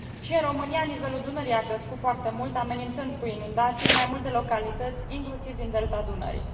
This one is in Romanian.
Și în România nivelul Dunării a crescut foarte mult, amenințând cu inundații mai multe localități, inclusiv din Delta Dunării.